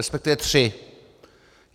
Respektive tři.